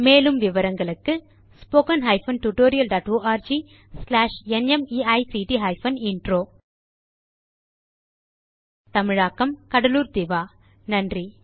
மேலும் விவரங்களுக்கு spoken hyphen tutorial dot org slash NMEICT hyphen intro தமிழாக்கம் கடலூர் திவா நன்றி